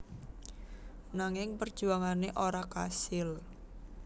Nanging perjuangane ora kasil